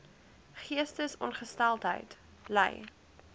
geestesongesteldheid ly